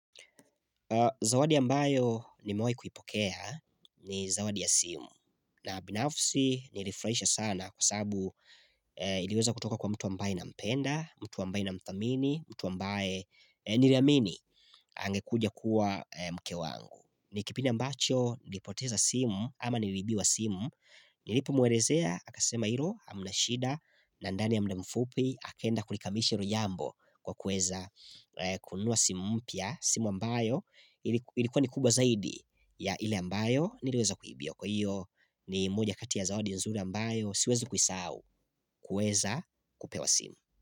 Zawadi ambayo nimewahi kuipokea ni zawadi ya simu na binafsi nilifurahisha sana kwa sababu iliweza kutoka kwa mtu ambaye na mpenda, mtu ambaye na mthamini, mtu ambaye niliamini angekuja kuwa mke wangu. Ni kipindi ambacho nipoteza simu ama nilibiwa simu Nilipo muelezea akasema hilo hamna shida na ndani ya muda mfupi akaenda kulikamilisha ilo jambo kwa kueza kunua simu mpya simu ambayo ilikuwa ni kubwa zaidi ya ile ambayo nilweza kuibiwa Kwa hiyo ni moja katia zawadi nzuri ambayo siwezi kuisahau kueza kupewa simu.